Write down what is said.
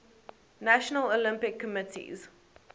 national olympic committees